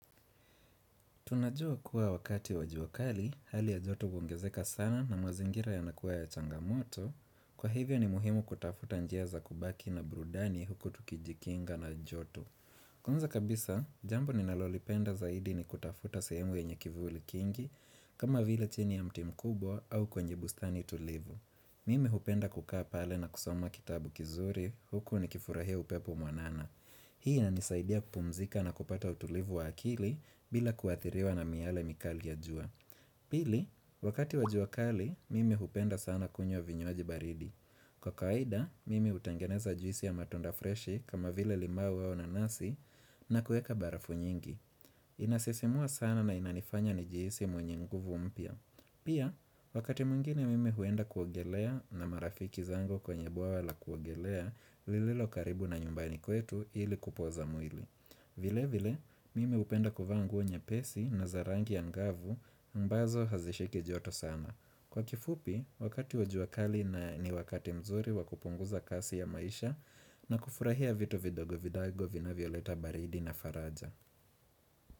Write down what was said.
Tunajua kuwa wakati wakati wajuakali, hali ya joto huongezeka sana na mazingira yanakuwa ya changamoto, kwa hivyo ni muhimu kutafuta njia za kubaki na burudani huku tukijikinga na joto. Kwanza kabisa, jambo ni nalolipenda zaidi ni kutafuta sehemu yenye kivuli kingi, kama vile chini ya mti mkubwa au kwenye bustani tulivu. Mimi hupenda kukaa pale na kusoma kitabu kizuri huku ni kifurahia upepo mwanana. Mimi hupenda kukaa pale na kusoma kitabu kizuri huku ni kifurahia upepo mwanana. Pili, wakati wa jua kali, mimi hupenda sana kunywa vinywaji baridi. Kwa kawaida, mimi hutangeneza juisi ya matunda freshi kama vile limau au nanasi na kuweka barafu nyingi. Inasisimua sana na inanifanya nijihisi mwenye nguvu mpya. Hii ina nisaidia kupumzika na kupata utulivu wa akili bila kuadhiriwa na miyale mikali ya jua. Vile vile, mimi hupenda kuvaa nguo nyepesi na za rangi angavu mbazo hazishiki joto sana. Kwa kifupi, wakati wajuakali na ni wakati mzuri wakupunguza kasi ya maisha na kufurahia vitu vidogo vidogo vinavyoleta baridi na faraja.